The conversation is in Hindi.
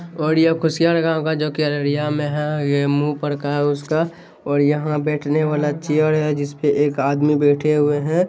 और ये कुसिया लगा हुआ हैं जो की अररिया में हैं। ये मुंह पर का हैं उसका और यहां बैठने वाला चेयर हैं जिस पर एक आदमी बैठे हुए हैं।